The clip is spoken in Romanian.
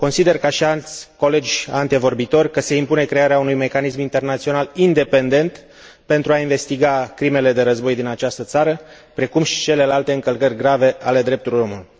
Consider, ca și alți colegi antevorbitori, că se impune crearea unui mecanism internațional independent pentru a investiga crimele de război din această țară, precum și celelalte încălcări grave ale drepturilor omului.